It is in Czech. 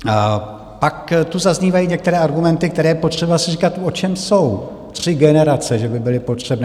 A pak tu zaznívají některé argumenty, které je potřeba si říkat, o čem jsou - tři generace že by byly potřebné.